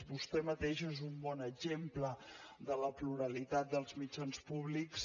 vostè mateix és un bon exemple de la pluralitat dels mitjans públics